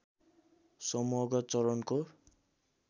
समूहगत चरणको